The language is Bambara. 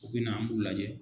U bina an b'u lajɛ.